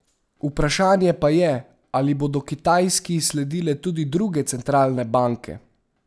Vprašanje pa je, ali bodo Kitajski sledile tudi druge centralne banke?